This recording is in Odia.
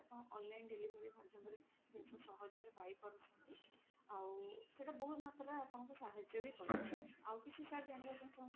ଆପଣ online delivery ମାଧ୍ୟମ ରେ ଜିନିଷ ସହଜ ରେ ପାଇପାରୁଛନ୍ତି ଆଉ ସେଇଟା ବହୁତ ମାତ୍ରା ରେ ଆପଣଙ୍କୁ ସାହାର୍ଯ୍ୟ ବି କରିବ। ଆଉ କିଛି sir ଜାଣିବା ପାଇଁ ଚାହୁଁଛନ୍ତି?